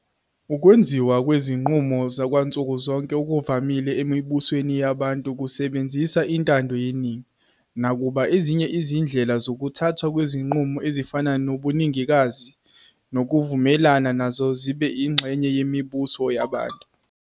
Ukwenziwa kwezinqumo kwansuku zonke okuvamile emibusweni yabantu kusebenzisa intando yeningi, nakuba ezinye izindlela zokuthathwa kwezinqumo ezifana nobuningikazi "supermajority" nokuvumelana nazo zibe ingxenye yemibuso yabantu.